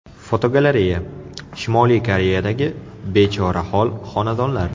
Fotogalereya: Shimoliy Koreyadagi bechorahol xonadonlar.